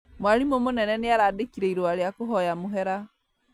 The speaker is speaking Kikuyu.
Mwarimũ mũnene nĩarandĩkire irũa rĩa kũhoya mũhera